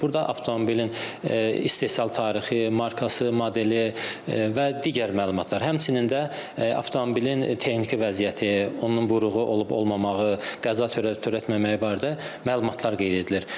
Burda avtomobilin istehsal tarixi, markası, modeli və digər məlumatlar, həmçinin də avtomobilin texniki vəziyyəti, onun vuruğu olub-olmamağı, qəza törədib törətməməyi barədə məlumatlar qeyd edilir.